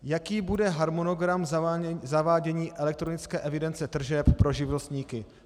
Jaký bude harmonogram zavádění elektronické evidence tržeb pro živnostníky?